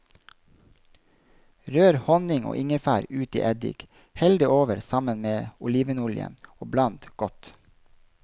Rør honning og ingefær ut i eddik, hell det over sammen med olivenoljen og bland godt.